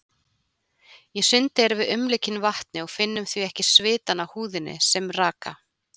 Í sundi erum við umlukin vatni og finnum því ekki svitann á húðinni sem raka.